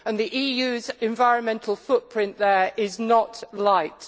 The EU's environmental footprint there is not light.